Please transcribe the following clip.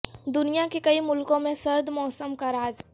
دنیا کے کئی ملکوں میں سرد موسم کا راج